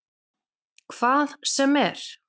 Hvað sem er?